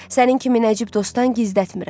Sənin kimi Nəcib dostdan gizlətmirəm.